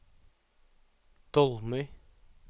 Dolmøy